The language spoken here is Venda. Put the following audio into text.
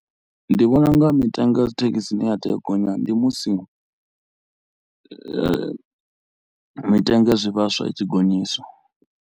Ndi vhona u nga mitengo ya dzithekhisi i ne ya tea gonya ndi musi mitengo ya zwivhaswa i tshi gonyiswa.